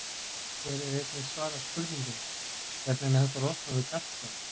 Hér er einnig svarað spurningunni: Hvernig er hægt að losna við gallsteina?